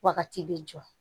Wagati bɛ jɔ